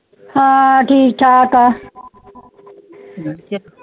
ਹੈ ਠ੍ਕ ਠਾਕ ਆ